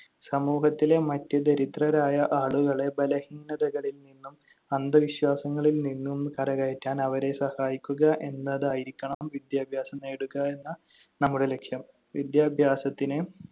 സമൂഹത്തിലെ മറ്റ് ദരിദ്രരായ ആളുകളെ ബലഹീനതകളിൽ നിന്നും അന്ധവിശ്വാസങ്ങളിൽ നിന്നും കരകയറ്റാൻ അവരെ സഹായിക്കുക എന്നതായിരിക്കണം വിദ്യാഭ്യാസം നേടുകയെന്ന നമ്മുടെ ലക്ഷ്യം. വിദ്യാഭ്യാസത്തിന്